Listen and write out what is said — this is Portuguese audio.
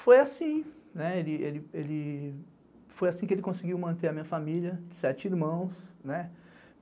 Foi assim, né, foi assim que ele conseguiu manter a minha família, sete irmãos.